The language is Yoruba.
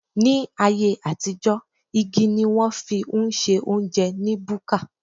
Ní ayé àtijó, igi ni wón fi ń se óúnjẹ ní búkà